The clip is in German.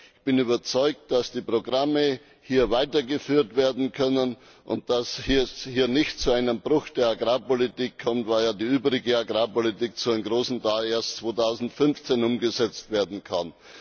Ich bin überzeugt, dass die Programme hier weitergeführt werden können, und dass es hier nicht zu einem Bruch in der Agrarpolitik kommt, weil ja die übrige Agrarpolitik zu einem großen Teil erst 2015 umgesetzt werden kann.